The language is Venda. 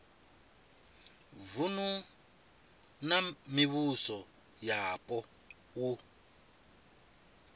vunu na mivhuso yapo u